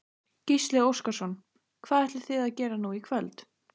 Gísli Óskarsson: Hvað ætlið þið að gera nú í kvöld?